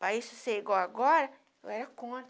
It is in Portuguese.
Para isso ser igual agora, eu era contra.